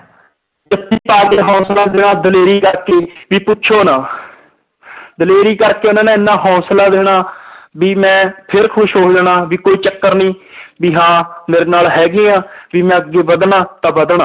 ਜੱਫ਼ੀ ਪਾ ਕੇ ਹੌਸਲਾ ਦੇਣਾ ਦਲੇਰੀ ਕਰਕੇ ਵੀ ਪੁੱਛੋ ਨਾ ਦਲੇਰੀ ਕਰਕੇ ਉਹਨਾਂ ਨੇ ਇੰਨਾ ਹੌਸਲਾ ਦੇਣਾ ਵੀ ਮੈਂ ਫਿਰ ਖ਼ੁਸ਼ ਹੋ ਜਾਣਾ ਵੀ ਕੋਈ ਚੱਕਰ ਨੀ ਵੀ ਹਾਂ ਮੇਰੇ ਨਾਲ ਹੈਗੇ ਆ ਵੀ ਮੈਂ ਅੱਗੇ ਵੱਧਣਾ ਤਾਂ ਵੱਧਣਾ।